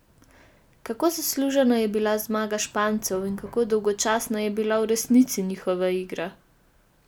Kako zaslužena je bila zmaga Špancev in kako dolgočasna je bila v resnici njihova igra?